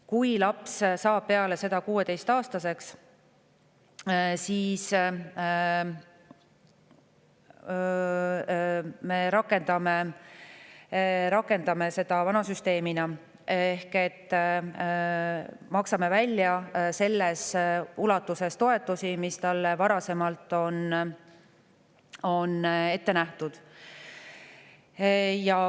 Kui laps saab peale seda 16-aastaseks, siis me rakendame vana süsteemi ehk maksame toetusi välja selles ulatuses, mis talle varasemalt on ette nähtud.